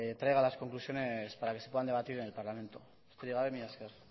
traiga las conclusiones para que se puedan debatir en el parlamento besterik gabe mila esker